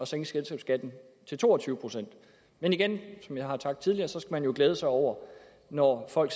sænke selskabsskatten til to og tyve procent men igen som jeg har sagt tidligere skal man jo glæde sig over når folk